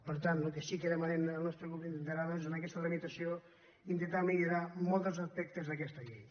per tant el que sí que demanem el nostre grup en aquesta tramitació és intentar millorar molts dels aspectes d’aquesta llei